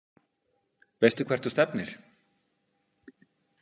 Veistu hvert þú stefnir?